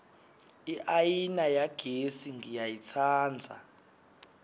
iayina yagesi ngiyayitsandza